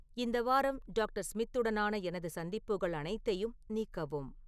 இந்த வாரம் டாக்டர் ஸ்மித்துடனான எனது சந்திப்புகள் அனைத்தையும் நீக்கவும்